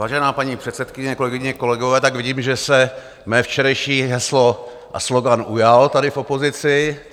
Vážená paní předsedkyně, kolegyně, kolegové, tak vidím, že se mé včerejší heslo a slogan ujal tady v opozici.